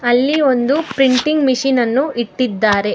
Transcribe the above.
ಅಲ್ಲಿ ಒಂದು ಪ್ರಿಂಟಿಂಗ್ ಮಷೀನನ್ನು ಇಟ್ಟಿದ್ದಾರೆ.